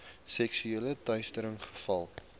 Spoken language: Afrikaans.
seksuele teistering gevalle